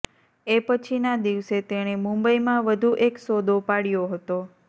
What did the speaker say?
એ પછીના દિવસે તેણે મુંબઇમાં વધુ એક સોદો પાડ્યો હતો